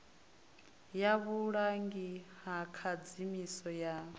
ya vhulangi ha khadzimiso ya